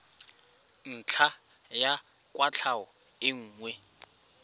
ntlha ya kwatlhao e nngwe